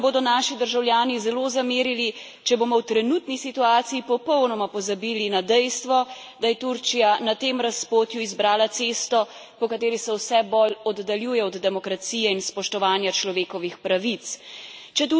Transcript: Vendar pa nam bodo naši državljani zelo zamerili, če bomo v trenutni situaciji popolnoma pozabili na dejstvo, da je Turčija na tem razpotju izbrala cesto, po kateri se vse bolj oddaljuje od demokracije in spoštovanja človekovih pravic.